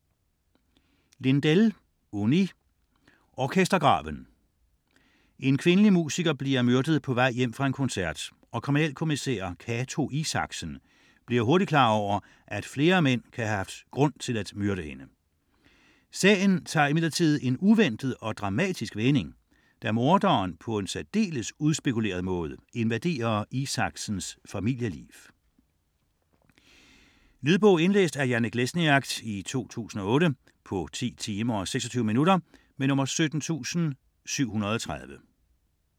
Lindell, Unni: Orkestergraven En kvindelig musiker bliver myrdet på vej hjem fra en koncert, og kriminalkommisær Cato Isaksen bliver hurtigt klar over, at flere mænd kan have haft grund til at myrde hende. Sagen tager imidlertid en uventet og dramatisk vending, da morderen på en særdeles udspekuleret måde invaderer Isaksens familieliv. Lydbog 17730 Indlæst af Janek Lesniak, 2008. Spilletid: 10 timer, 26 minutter.